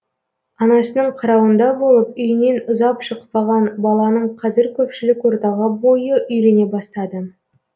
анасының қарауында болып үйінен ұзап шықпаған баланың қазір көпшілік ортаға бойы үйрене бастады